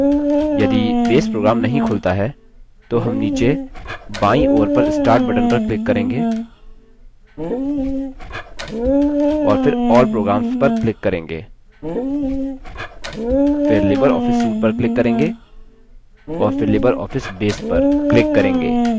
यदि base program नहीं खुलता है तो हम नीचे बायीं ओर पर start button पर click करेंगे और फिर all programs पर click करेंगे फिर libreoffice suite पर click करेंगे और फिर libreoffice base पर click करेंगे